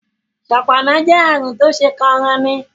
ṣọpọnna jé àrùn Tó ṣeé kóranni